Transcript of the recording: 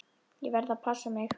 Ég verð að passa mig.